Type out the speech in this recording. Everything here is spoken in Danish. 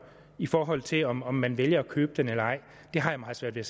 i forhold til om om man vælger at købe den eller ej det har jeg meget svært ved